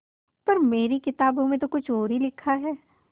पर मेरी किताबों में तो कुछ और ही लिखा है